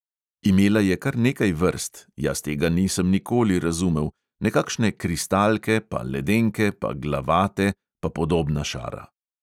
Imela je kar nekaj vrst, jaz tega nisem nikoli razumel, nekakšne kristalke, pa ledenke, pa glavate, pa podobna šara.